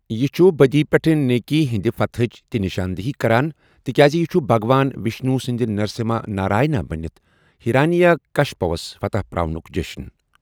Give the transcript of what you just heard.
یہِ چھُ بدی پیٹھ نیکی ہندِ فتحٕچ تہِ نشاندہی کران، تِکیازِ یہ چھُ بھگوان وشنو سٕندِ نرسمہا نارائنا بنِتھ ہیرانیاکشپوَس فتح پراونک جشن۔